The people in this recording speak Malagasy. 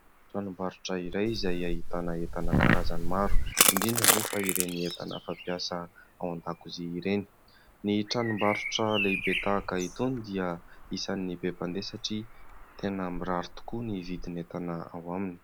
Tranombarotra iray izay ahitana entana karazany maro indrindra moa fa ireny entana fampiasa ao an-dakozia ireny. Ny tranombarotra lehibe tahaka itony dia isan'ny be mpandeha satria tena mirary tokoa ny vidin'entana ao aminy.